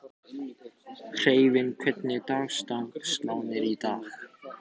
Eyfi, hvernig er dagskráin í dag?